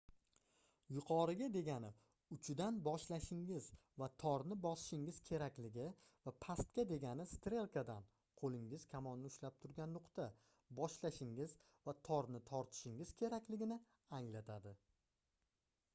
yuqoriga degani uchidan boshlashingiz va torni bosishingiz kerakligi va pastga degani strelkadan qo'lingiz kamonni ushlab turgan nuqta boshlashingiz va torni tortishingiz kerakligini anglatadi